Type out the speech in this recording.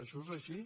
això és així